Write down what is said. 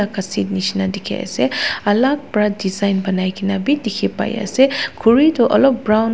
nishina diki asae alak para design bo nai kina bi dikipai asae kuri toh olop brown .